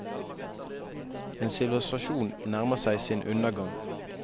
En sivilisasjon nærmer seg sin undergang.